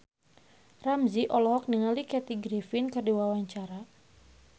Ramzy olohok ningali Kathy Griffin keur diwawancara